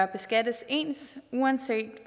beskattes ens uanset